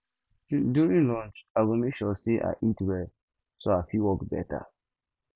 during lunch i go make sure say i eat well so i fit work better